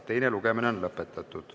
Teine lugemine on lõpetatud.